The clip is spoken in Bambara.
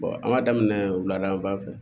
an b'a daminɛ wuladada fɛ